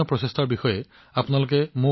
সমগ্ৰ দেশতে এনে ধৰণৰ বহুতো প্ৰচেষ্টা কৰা হৈছে